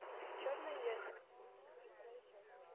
черное зеркало седьмой сезон вторая часть